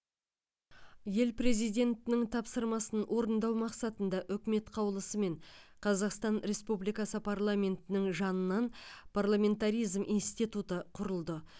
ел президентінің тапсырмасын орындау мақсатында үкімет қаулысымен қазақстан республикасы парламентінің жанынан парламентаризм институты құрылды